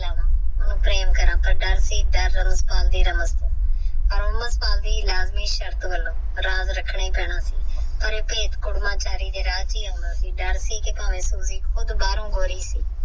ਪ੍ਰੇਮ ਕਰ ਪਰ ਦਰ ਸੀ ਲਾਜਮੀ ਸ਼ਰਤ ਵਾਂਗੂ ਰਖਣਾ ਪੀਨਾ ਸੀ ਭਰੇ ਅਓਇਦ ਕੂਰਮਾ ਚਾਰੀ ਦੇ ਰਾਜ ਹੀ ਆਉਂਦਾ ਸੀ ਦਰ ਸੀ ਭਾਵੇ ਓਹ ਭਰੋ ਗੋਰੁਈ ਸੀ